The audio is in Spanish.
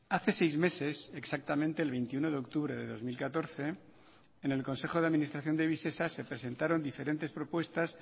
hace seis meses exactamente el veintiuno de octubre de dos mil catorce en el consejo de administración de visesa se presentaron diferentes propuestas